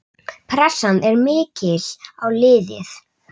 Pressan er mikil á liðið.